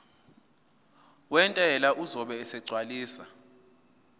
wentela uzobe esegcwalisa